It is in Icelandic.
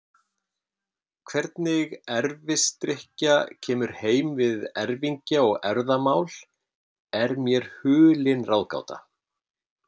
Hvernig erfisdrykkja kemur heim við erfingja og erfðamál er mér hulin ráðgáta.